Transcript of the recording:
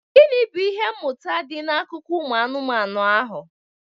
Gịnị bụ ihe mmụta dị n'akụkọ ụmụ anụmanụ ahụ?